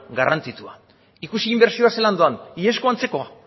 garrantzitsua ikusi inbertsioa zelan doan iazko antzeko